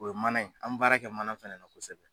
O ye mana ye an mɛ baara kɛ mana fɛnɛ na kosɛbɛ.